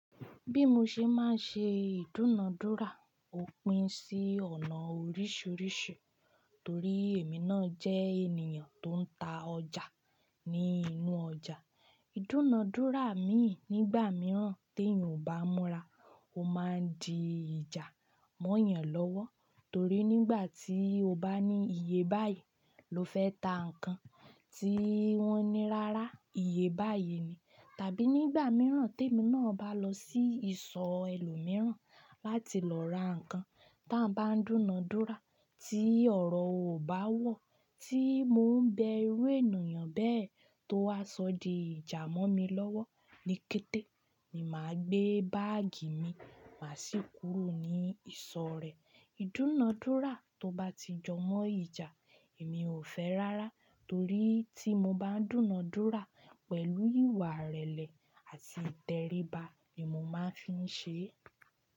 Bí mo ṣe máa ń ṣe ìdúnadúrà, ó pín sí ọ̀nà oríṣiríṣi. Torí èmi náà jẹ́ ènìyàn tó ń ta ọjà ní inú ọjà. Ìdúnadúrà mi nígbà mìíràn tí èèyàn ò bá múra, ó máa di ìjà mọ́ eeyàn lọ́wọ́. Torí nígbà tí o bá ní iye báyìí ló fẹ́ ta nǹkan tí wọ́n ní rárá, iye báyìí ni. Tàbí nígbà mìíràn tí èmi náà bá lọ sí ìsọ̀ ẹlòmíràn láti lọ ra nǹkan ta wọ́n bá ń dúnadúrà tí ọ̀rọ̀ ò bá wọ̀ tí mò ń bẹ irú ènìyàn bẹ́ẹ̀ tó wá sọ di ìjà mọ́ mi lọ́wọ́ ní kété ni màá gbé báàgì mi máa sì kúrò ní ìsọ̀ rẹ̀. Ìdúnadúrà tó bá ti jọ mọ́ ìjà, èmi ò fẹ́ rárá. Torí tí mo bá ń dúnadúrà pẹ̀lú ìwà ìrẹ̀lẹ̀ àti ìtẹríba ni mo máa ń fi ń ṣe é.